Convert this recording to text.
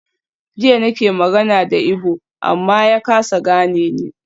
Jiya nake magana da Igbo amma ya kasa gane ni.